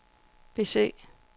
bese